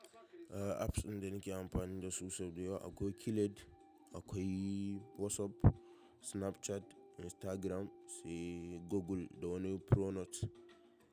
Apps ɗin da nake amfani da su so dayawa akwai killed, akwai WhatsApp, Snapchat, Instagram, sai Google da wani Pro note.